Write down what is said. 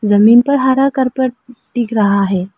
जमीन पर हरा कार्पेट दिख रहा है।